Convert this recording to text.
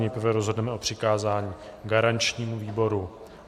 Nejprve rozhodneme o přikázání garančnímu výboru.